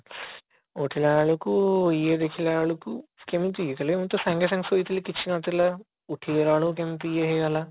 ଉଠିଲା ବେଳକୁ ଇଏ ଦେଖିଲା ବେଳକୁ କେମିତି ଖାଲି ଏମିତି ତା ସାଙ୍ଗେ ସାଙ୍ଗେ ଶୋଇଥିଲି କିଛି ନଥିଲା ଉଠି ଗଲା ବେଳକୁ କେମିତି ଇଏ ହେଇ ଗଲା